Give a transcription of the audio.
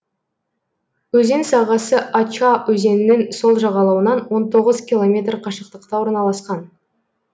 өзен сағасы ача өзенінің сол жағалауынан он тоғыз километр қашықтықта орналасқан